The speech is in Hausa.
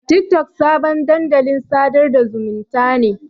Tiktok sabon dandalin sadar da zumunta ne.